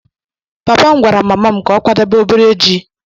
Papa m gwara mama m ka ọ kwadebe obere ji.